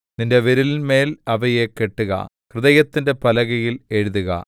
നിന്റെ വിരലിന്മേൽ അവയെ കെട്ടുക ഹൃദയത്തിന്റെ പലകയിൽ എഴുതുക